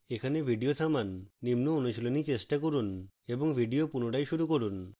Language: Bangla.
এখানে video থামান